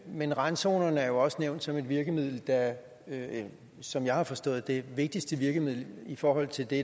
men randzonerne er også nævnt som et virkemiddel der som jeg har forstået det vigtigste virkemiddel i forhold til det